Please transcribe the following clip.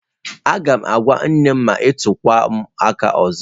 Agam agwa nnem ma i tukwa m aka ozo.